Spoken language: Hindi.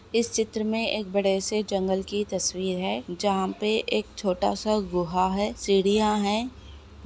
इस चित्र में एक बड़े से जंगल की तस्वीर है जहां पे एक छोटा सा गुहा है सीढ़िया हैं।